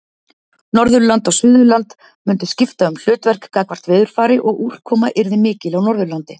Norðurland og Suðurland mundu skipta um hlutverk gagnvart veðurfari og úrkoma yrði mikil á Norðurlandi.